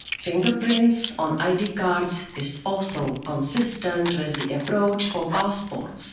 Fingerprints on ID cards is also consistent with the approach for passports.